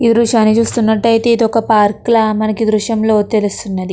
ఈ దృశ్యాన్ని చూసినట్లు అయితే ఇది ఒక పార్క్ లా మనకి ఈ దృష్యం లో తెలుస్తుంది.